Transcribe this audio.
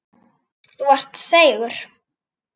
Þú varst seigur.